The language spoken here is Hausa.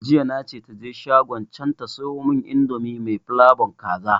Jiya na ce taje shagon can ta siyomun indomi mai flabon kaza